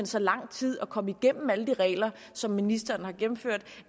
så lang tid at komme igennem alle de regler som ministeren har gennemført